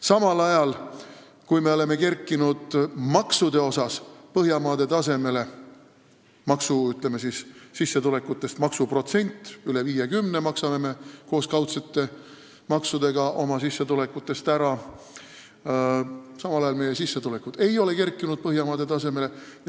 Samal ajal, kui me oleme maksude poolest kerkinud Põhjamaade tasemele – ütleme siis, selle poolest, kui suur on maksuprotsent sissetulekutega võrreldes, üle 50% me maksame koos kaudsete maksudega oma sissetulekutest ära –, ei ole meie sissetulekud kerkinud Põhjamaade tasemele.